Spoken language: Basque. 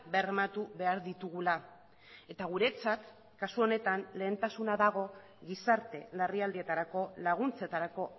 bermatu behar ditugula eta guretzat kasu honetan lehentasuna dago gizarte larrialdietarako laguntzetarako